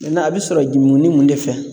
a bɛ sɔrɔ ju nmunni de fɛ